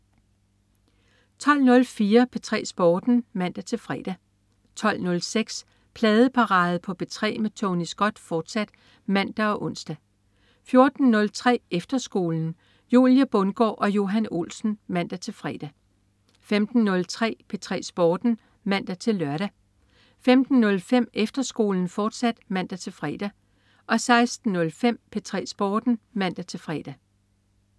12.04 P3 Sporten (man-fre) 12.06 Pladeparade på P3 med Tony Scott, fortsat (man og ons) 14.03 Efterskolen. Julie Bundgaard og Johan Olsen (man-fre) 15.03 P3 Sporten (man-lør) 15.05 Efterskolen, fortsat (man-fre) 16.05 P3 Sporten (man-fre)